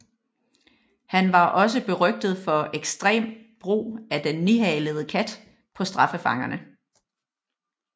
Han var også berygtet for ekstrem brug af den nihalede kat på straffefangerne